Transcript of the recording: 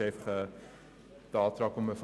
Ich sage dazu nicht allzu viel.